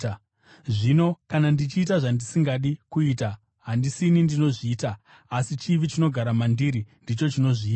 Zvino kana ndichiita zvandisingadi kuita, handisini ndinozviita, asi chivi chinogara mandiri ndicho chinozviita.